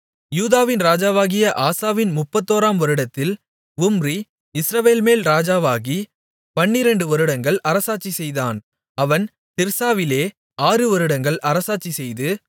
யூதாவின் ராஜாவாகிய ஆசாவின் முப்பத்தோராம் வருடத்தில் உம்ரி இஸ்ரவேல்மேல் ராஜாவாகி பன்னிரண்டு வருடங்கள் அரசாட்சிசெய்தான் அவன் திர்சாவிலே ஆறு வருடங்கள் அரசாட்சி செய்து